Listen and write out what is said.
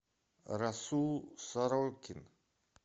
расул сорокин